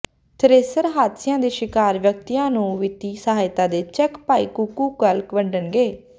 thresher ਹਾਦਸਿਆਂ ਦੇ ਸ਼ਿਕਾਰ ਵਿਅਕਤੀਆਂ ਨੂੰ ਵਿੱਤੀ ਸਹਾਇਤਾ ਦੇ ਚੈੱਕ ਭਾਈ ਕੁੱਕੂ ਕੱਲ੍ਹ ਵੰਡਣਗੇ